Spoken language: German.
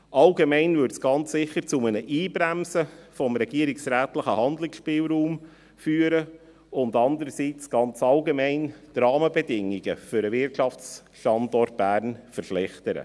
Allgemein würde dies einersiets ganz sicher zu einem «Einbremsen» des regierungsrätlichen Handlungsspielraums führen und andererseits, ganz allgemein, die Rahmenbedingungen für den Wirtschaftsstandort Bern verschlechtern.